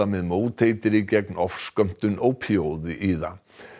með móteitri gegn ofskömmtun ópíóíða